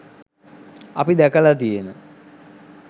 අපි දැකලා තියෙන